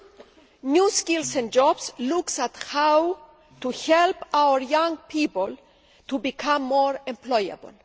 The Agenda for New Skills and Jobs looks at how to help our young people to become more employable.